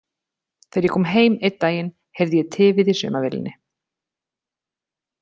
Þegar ég kom heim einn daginn heyrði ég tifið í saumavélinni.